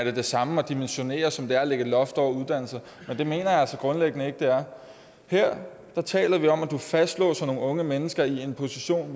er det samme at dimensionere som det er at lægge et loft over uddannelser men det mener jeg altså grundlæggende ikke det er her taler vi om at fastlåse nogle unge mennesker i en position